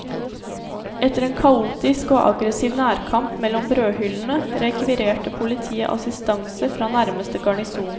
Etter en kaotisk og aggressiv nærkamp mellom brødhyllene rekvirerte politiet assistanse fra nærmeste garnison.